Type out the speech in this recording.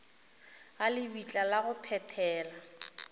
ga lebitla la go phethela